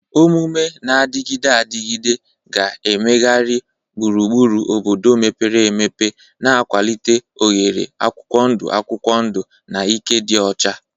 Omume na-adịgide adịgide ga-emegharị gburugburu obodo mepere emepe, na-akwalite oghere akwụkwọ ndụ akwụkwọ ndụ na ike dị ọcha.